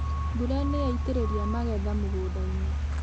Mbura nĩyaitĩrĩria magetha mũgũndainĩ